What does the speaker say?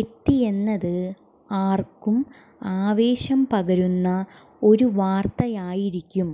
എത്തിയെന്നത് ആര്ക്കും ആവേശം പകരുന്ന ഒരു വാര്ത്തയായിരിക്കും